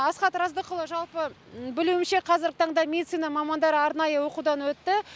асхат раздықұлы жалпы білуімше қазіргі таңда медицина мамандары арнайы оқудан өтті